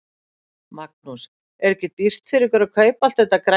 Magnús: Er ekki dýrt fyrir ykkur að kaupa allt þetta grænmeti?